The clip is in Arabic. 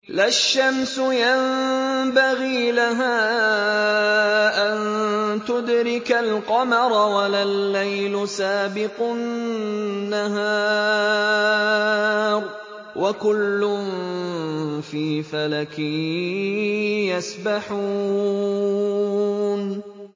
لَا الشَّمْسُ يَنبَغِي لَهَا أَن تُدْرِكَ الْقَمَرَ وَلَا اللَّيْلُ سَابِقُ النَّهَارِ ۚ وَكُلٌّ فِي فَلَكٍ يَسْبَحُونَ